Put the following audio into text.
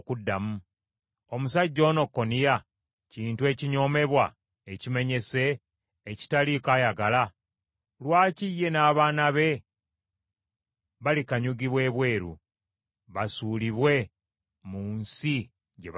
Omusajja ono Koniya kintu ekinyoomebwa, ekimenyese, ekitaliiko ayagala? Lwaki ye n’abaana be balikanyugibwa ebweru, basuulibwe mu nsi gye batamanyi?